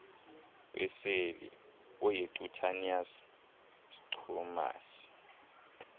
weseli oyicutaneus squamous